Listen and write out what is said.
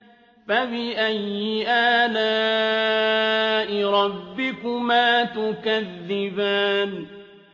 فَبِأَيِّ آلَاءِ رَبِّكُمَا تُكَذِّبَانِ